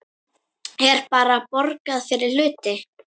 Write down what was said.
Er bara borgað fyrir hluti?